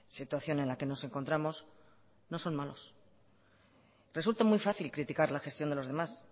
situación en la que nos encontramos no son malos resulta muy fácil criticar la gestión de los demás